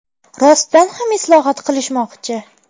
Rostdan ham islohot qilishmoqchi.